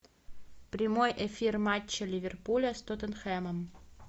прямой эфир матча ливерпуля с тоттенхэмом